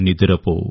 నిదురపో